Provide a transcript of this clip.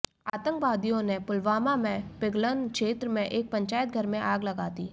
आतंकवादियों ने पुलवामा में पिंगलन क्षेत्र में एक पंचायतघर में आग लगा दी